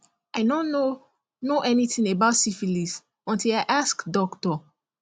i no know know anything about syphilis until i ask doctor